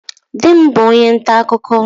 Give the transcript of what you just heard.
Di m bu onye nta akụkụ.